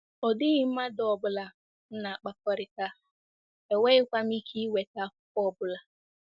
Ọ dịghị mmadụ ọ bụla m na-akpakọrịta, enweghịkwa m ike inweta akwụkwọ ọ bụla.